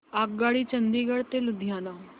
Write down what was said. आगगाडी चंदिगड ते लुधियाना